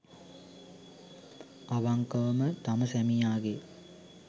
අවංකවම තම සැමියාගේ